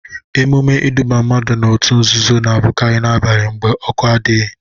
Emume iduba mmadụ n'otu nzuzo na abụkari na-abani mgbe ọkụ adịghị.